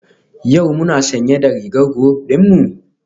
Yau muna sanye da rigar group dinmu?